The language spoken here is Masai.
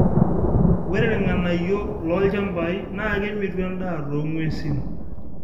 ore irng'anayio loo ilchampai naa kemitu en'daa too ng'wesi